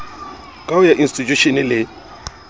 ka kaho ya institjhushene le